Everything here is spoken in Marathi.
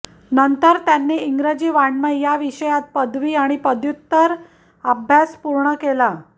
नंतर त्यांनी त्यांनी इंग्रजी वाङमय या विषयात पदवी आणि पदव्युत्तर अभ्यास पूर्ण केला